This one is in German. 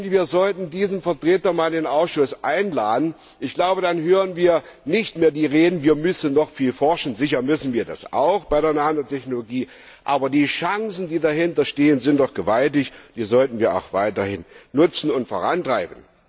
Wir sollten diesen Vertreter einmal in den Ausschuss einladen, dann hören wir nicht mehr die Reden, wir müssen noch viel forschen sicher müssen wir das auch bei der Nanotechnologie, aber die Chancen, die dahinter stehen, sind doch gewaltig. Die sollten wir auch weiterhin nutzen und vorantreiben.